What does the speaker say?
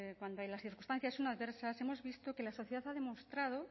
cuando las circunstancias son adversas hemos visto que la sociedad ha demostrado